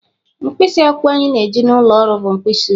Mkpịsị akwụkwọ anyị na-eji n'ụlọ ọrụ bụ mkpịsị oji.